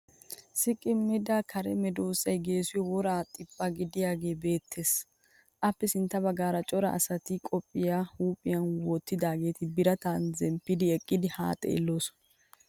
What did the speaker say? Sikkimida kare medossay geessiyo woray xiphphi giidaagee beettes. Appe sintta baggaara cora asati qophiya huuphiyan wottidaageeti birataa zemppidi eqqidi haa xeelloosona.